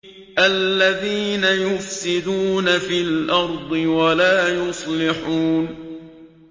الَّذِينَ يُفْسِدُونَ فِي الْأَرْضِ وَلَا يُصْلِحُونَ